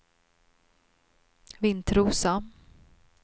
Vintrosa